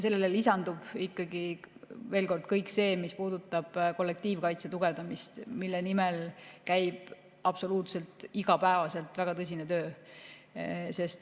Sellele lisandub ikkagi, veel kord, kõik see, mis puudutab kollektiivkaitse tugevdamist, mille nimel käib absoluutselt iga päev väga tõsine töö.